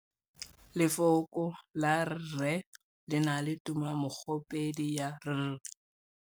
Lefoko la rre, le na le tumammogôpedi ya, r.